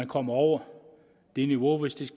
kommer over det niveau hvis den